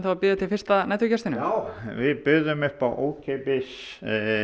að bíða eftir fyrsta næturgestinum já við buðum upp á ókeypis